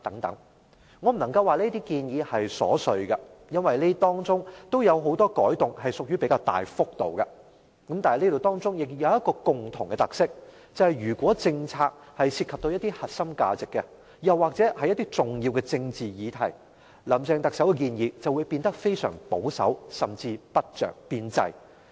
我不能說這些建議瑣碎，因為當中有很多改動屬於比較大幅度，但當中仍然有一個共同的特色，就是如果政策涉及核心價值，又或是重要的政治議題，特首林鄭月娥的建議便會變得非常保守，甚至不着邊際。